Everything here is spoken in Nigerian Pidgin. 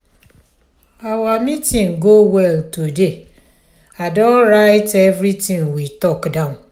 our meeting go well today i don write everything we talk down.